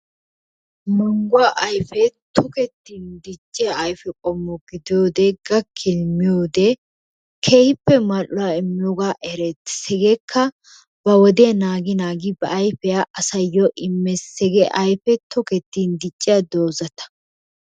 Manguwa ayippe tokkettin dicciyaa ayippe qommo gidiyodde gakinni miyowodee kehippe maluwa immiyoga ereettes, hegeka ba wodiyaa nagi nagi ba ayipiyaa asayo imees, hege ayippe tokettin dicciya dozattaa.